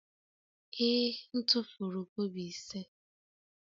Ee, m tufuru kobo ise.